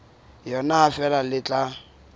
yona ha feela le tla